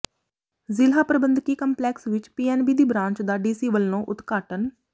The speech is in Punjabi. ਜ਼ਿਲ੍ਹਾ ਪ੍ਰਬੰਧਕੀ ਕੰਪਲੈਕਸ ਵਿੱਚ ਪੀਐਨਬੀ ਦੀ ਬਰਾਂਚ ਦਾ ਡੀਸੀ ਵੱਲੋਂ ਉਦਘਾਟਨ